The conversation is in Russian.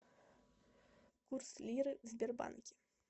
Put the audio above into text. курс лиры в сбербанке